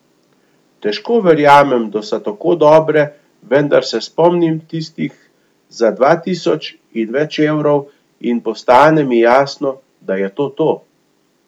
Težko verjamem, da so tako dobre, vendar se spomnim tistih za dva tisoč in več evrov in postane mi jasno, da je to to.